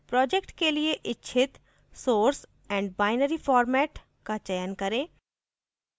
project के लिए इच्छित source and binary format का चयन करें